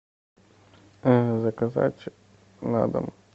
заказать на дом